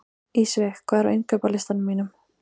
Ísveig, hvað er á innkaupalistanum mínum?